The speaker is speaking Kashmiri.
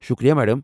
شُکریہ، میڑم۔